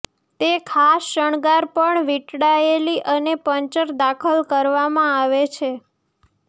તે ખાસ શણગાર પર વીંટળાયેલી અને પંચર દાખલ કરવામાં આવે છે